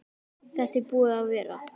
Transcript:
Þetta er búið að vera.